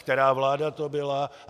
Která vláda to byla?